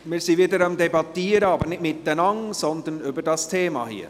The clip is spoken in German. Wir sind wieder am Debattieren, aber nicht miteinander, sondern über das Thema hier.